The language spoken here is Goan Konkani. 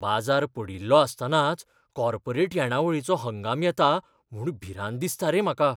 बाजार पडिल्लो आसतनाच कॉर्पोरेट येणावळीचो हंगाम येता म्हूण भिरांत दिसता रे म्हाका.